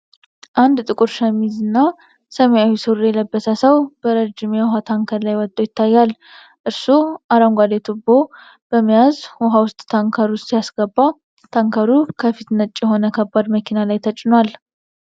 አንድ ጥቁር ሸሚዝና ሰማያዊ ሱሪ የለበሰ ሰው በረዥም የውሃ ታንከር ላይ ወጥቶ ይታያል። እርሱ አረንጓዴ ቱቦ በመያዝ ውሃ ወደ ታንከሩ ሲያስገባ፣ ታንከሩ ከፊት ነጭ የሆነ ከባድ መኪና ላይ ተጭኗል።